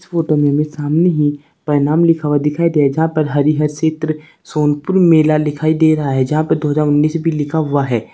इस फोटो में हमें सामने ही प्रणाम लिखा हुआ दिखाई दे रहा जहां पर हरिहर क्षेत्र सोनपुर मेला दिखाई दे रहा है जहां पे दो हजार उन्नीस भी लिखा हुआ है।